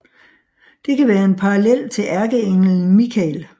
Det kan være en parallel til ærkeenglen Mikael